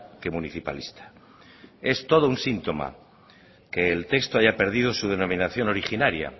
que municipalista es todo un síntoma que el texto haya perdido su denominación originaria